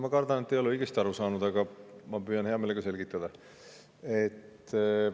Ma kardan, et te ei ole õigesti aru saanud, aga püüan hea meelega selgitada.